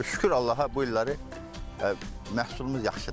Şükür Allaha bu illəri məhsulumuz yaxşıdır.